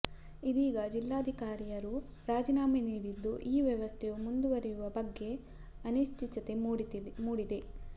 ಇದೀಗ ಜಿಲ್ಲಾಧಿಕಾರಿಯರು ರಾಜೀನಾಮೆ ನೀಡಿದ್ದು ಈ ವ್ಯವಸ್ಥೆಯು ಮುಂದುವರಿಯುವ ಬಗ್ಗೆ ಅನಿಶ್ಚಿತತೆ ಮೂಡಿದೆ